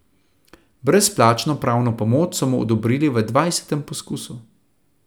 Brezplačno pravno pomoč so mu odobrili v dvajsetem poskusu.